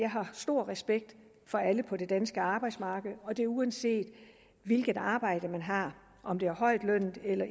jeg har stor respekt for alle på det danske arbejdsmarked og det er uanset hvilket arbejde man har om det er højtlønnet eller